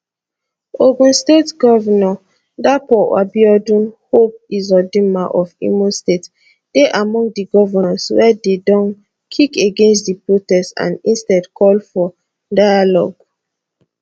ogun state govnor dapo abiodun hope uzodinma of imo state dey among di govnors wey don kick against di protest and instead call for dialogue